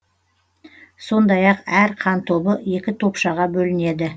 сондай ақ әр қан тобы екі топшаға бөлінеді